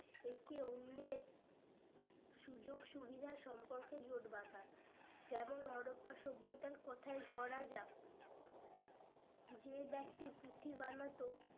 একে অন্যের সুযোগ সুবিধা সম্পর্কে জোট বাঁধা যেমন হরপ্পা সভ্যতার কোথায় ধরা যাক যে ব্যাক্তি পুঁথি বানাতো